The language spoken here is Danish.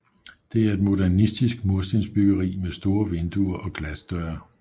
Det er et modernistisk murstensbyggeri med store vinduer og glasdøre